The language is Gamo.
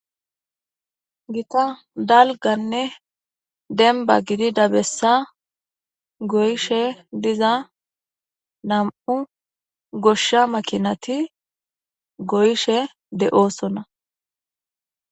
Gita dalganne denba gidi dabessa goyishe diza nam'u goshsha makinati goyshe de'oosona.